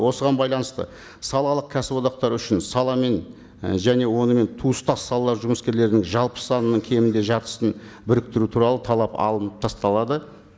осыған байланысты салалық кәсіподақтар үшін сала мен і және онымен туыстас салалар жұмыскерлерінің жалпы санының кемінде жартысын біріктіру туралы талап алынып тасталады